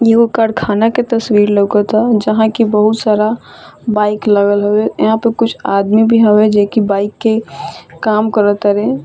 इहो कारखाना के तस्वीर लोकता जहाँ की बहुत सारा बाइक लगल हवे यहाँ पे कुछ आदमी भी हवे जे की बाइक के काम करतारे।